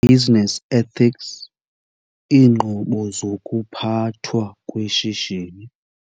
Business Ethics - Iinqobo zokuPhathwa kweShishini